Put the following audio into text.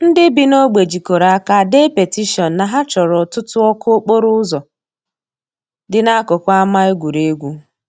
Ndị bi n'ogbe jikọrọ aka dee petishion na ha chọrọ ọtụtụ ọkụ okporo ụzọ dị n'akụkụ ama egwuregwu.